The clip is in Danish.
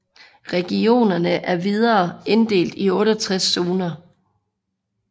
Regionerne er videre inddelte i 68 zoner